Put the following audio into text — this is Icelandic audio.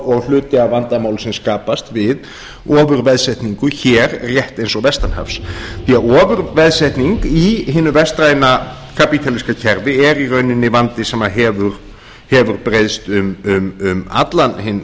og hluti af vandamálum sem skapast við ofurveðsetningu hér rétt eins og vestan hafs ofurveðsetning í hinu vestræna kapítalíska kerfi er í rauninni vandi sem hefur breiðst um allan hinn